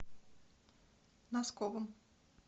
носковым